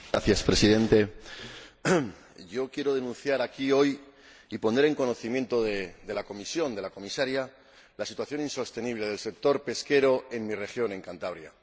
Señor Presidente, yo quiero denunciar aquí hoy y poner en conocimiento de la Comisión, de la Comisaria, la situación insostenible del sector pesquero en mi región, Cantabria.